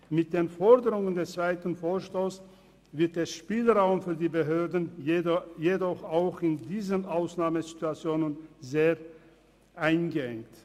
Mit den Forderungen des zweiten Vorstosses wird der Spielraum für die Behörden jedoch auch in diesen Ausnahmesituationen sehr eingeengt.